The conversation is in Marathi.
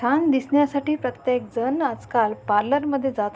छान दिसण्यासाठी प्रत्येकजण आजकाल पार्लर मध्ये जात--